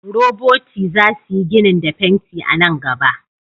Roboti za su yi ginin da fenti a nan gaba.